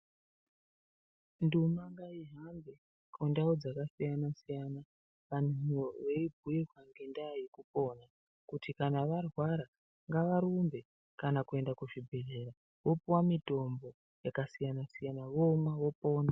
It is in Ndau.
Nduma ngaihambe kundau dzakasiyana siyana antu eibhuirwa ngendaa yekupona. Kuti kana varwara ngavarumbe kuenda kuenda kuzvibhendlera. Vopuwa mitombo yakasiyana siyana vomwa, vopona.